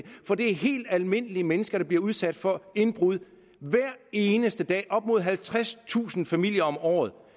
er helt almindelige mennesker der bliver udsat for indbrud hver eneste dag op mod halvtredstusind familier om året